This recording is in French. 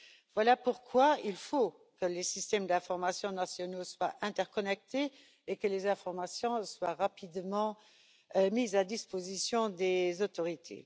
Voilà pourquoi il faut que les systèmes d'informations nationaux soient interconnectés et que les informations soient rapidement mises à disposition des autorités.